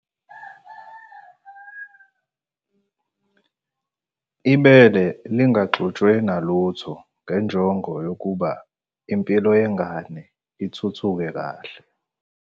.ibele lingaxutshwe nalutho ngenjongo yokuba impilo yengane ithuthuke kahle.